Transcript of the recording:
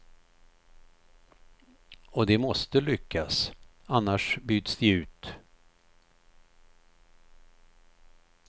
Och de måste lyckas, annars byts de ut.